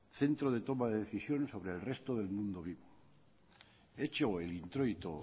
centro de toma de decisiones sobre el resto del mundo vivo hecho el introito